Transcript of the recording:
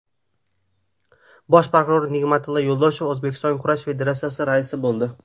Bosh prokuror Nig‘matilla Yo‘ldoshev O‘zbekiston kurash federatsiyasiga rais bo‘ldi.